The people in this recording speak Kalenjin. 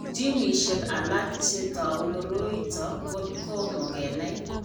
Ginishek alak che tou koroi ito ko komo kenai.